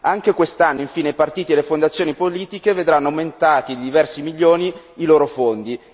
Anche quest'anno, infine, i partiti e le fondazioni politiche vedranno aumentati di diversi milioni i loro fondi.